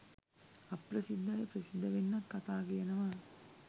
අප්‍රසිද්ධ අය ප්‍රසිද්ධ වෙන්නත් කතා කියනවා.